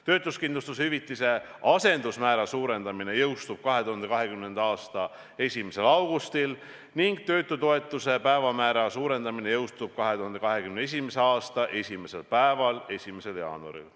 Töötuskindlustushüvitise asendusmäära suurendamine jõustub 2020. aasta 1. augustil ning töötutoetuse päevamäära suurendamine jõustub 2021. aasta esimesel päeval, 1. jaanuaril.